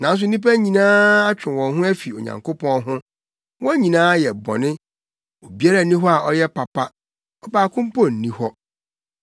Nanso nnipa nyinaa atwe wɔn ho afi Onyankopɔn ho; wɔn nyinaa ayɛ bɔne. Obiara nni hɔ a ɔyɛ papa. Ɔbaako mpo nni hɔ.